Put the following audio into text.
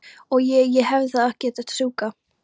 Og. ég. ég hefði þá ekki þurft að strjúka?